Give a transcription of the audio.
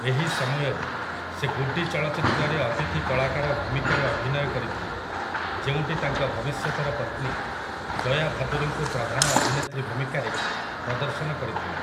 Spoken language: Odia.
ଏହି ସମୟରେ, ସେ 'ଗୁଡ୍ଡି' ଚଳଚ୍ଚିତ୍ରରେ ଅତିଥି କଳାକାର ଭୂମିକାରେ ଅଭିନୟ କରିଥିଲେ ଯେଉଁଟି ତାଙ୍କ ଭବିଷ୍ୟତର ପତ୍ନୀ ଜୟା ଭାଦୁରୀଙ୍କୁ ପ୍ରଧାନ ଅଭିନେତ୍ରୀ ଭୂମିକାରେ ପ୍ରଦର୍ଶନ କରିଥିଲା ।